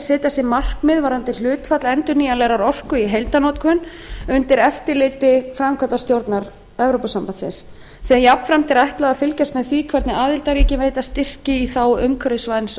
setja sér markmið varðandi hlutfall endurnýjanlegrar orku í heildarorkunotkun undir eftirliti framkvæmdastjórnarinnar sem jafnframt er ætlað að fylgjast með því hvernig aðildarríkin veita styrki í þágu umhverfisvæns